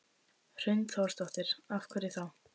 Hrund Þórsdóttir: Af hverju þá?